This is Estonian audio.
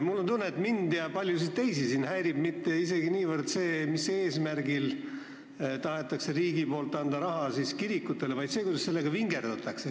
Mul on tunne, et mind ja paljusid teisi siin ei häiri mitte niivõrd see, mis eesmärgil tahab riik kirikutele raha anda, kuivõrd see, kuidas sellega vingerdatakse.